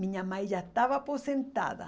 Minha mãe já estava aposentada.